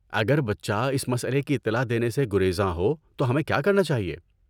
اگر بچہ اس مسئلے کی اطلاع دینے سے گریزاں ہو تو ہمیں کیا کرنا چاہیے؟